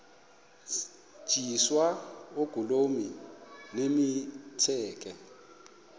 tyiswa oogolomi nemitseke